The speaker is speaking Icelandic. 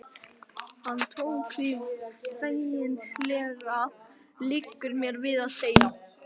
Hann tók því feginsamlega, liggur mér við að segja.